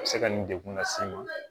A bɛ se ka nin degun lase i ma